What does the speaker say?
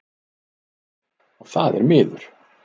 Og það er miður.